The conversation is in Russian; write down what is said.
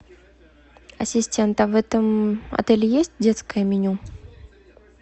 ассистент а в этом отеле есть детское меню